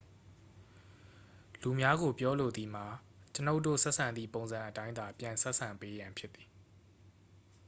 လူများကို ပြောလိုသည်မှာ ကျွန်ုပ်တို့ဆက်ဆံသည့်ပုံစံအတိုင်းသာ ပြန်ဆက်ဆံပေးရန် ဖြစ်သည်